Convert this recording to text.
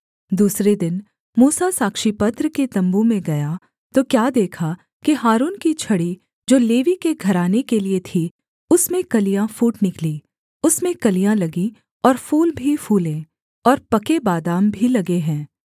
दूसरे दिन मूसा साक्षीपत्र के तम्बू में गया तो क्या देखा कि हारून की छड़ी जो लेवी के घराने के लिये थी उसमें कलियाँ फूट निकली उसमें कलियाँ लगीं और फूल भी फूले और पके बादाम भी लगे हैं